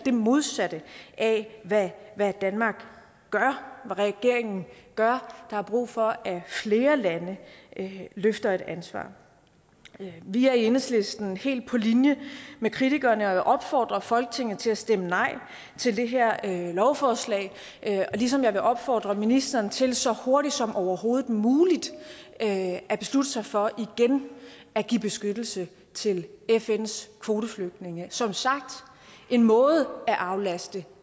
modsatte af hvad danmark og regeringen gør der er brug for at flere lande løfter et ansvar vi er i enhedslisten helt på linje med kritikerne og jeg vil opfordre folketinget til at stemme nej til det her lovforslag ligesom jeg vil opfordre ministeren til så hurtigt som overhovedet muligt at at beslutte sig for igen at give beskyttelse til fns kvoteflygtninge det som sagt en måde at aflaste